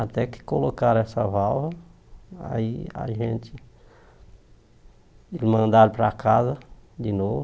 Até que colocaram essa válvula, aí a gente mandaram para casa de novo.